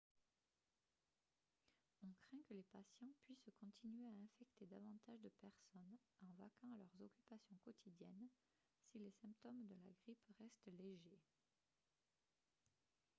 on craint que les patients puissent continuer à infecter davantage de personnes en vaquant à leurs occupations quotidiennes si les symptômes de la grippe restent légers